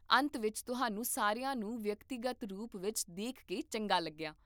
ਅੰਤ ਵਿੱਚ ਤੁਹਾਨੂੰ ਸਾਰਿਆਂ ਨੂੰ ਵਿਅਕਤੀਗਤ ਰੂਪ ਵਿੱਚ ਦੇਖ ਕੇ ਚੰਗਾ ਲੱਗਿਆ